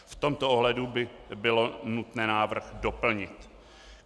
V tomto ohledu by bylo nutné návrh doplnit.